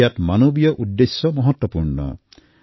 ইয়াত মানৱীয় উদ্দেশ্য মহত্বপূৰ্ণ হয়